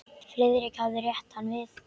Friðrik hafði rétt hann við.